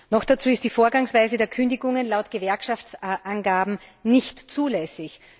Noch dazu ist die Vorgangsweise der Kündigungen laut Gewerkschaftsangaben nicht zulässig.